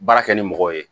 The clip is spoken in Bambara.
Baara kɛ ni mɔgɔw ye